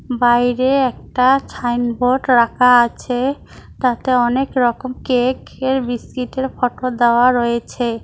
বাইরে একটা ছাইনবোর্ড রাখা আছে তাতে অনেক রকম কেক এর বিস্কিটের ফটো দেওয়া রয়েছে।